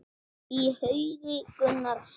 Í haugi Gunnar sat.